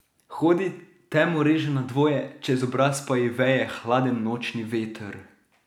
Hodi, temo reže na dvoje, čez obraz pa ji veje hladen nočni veter.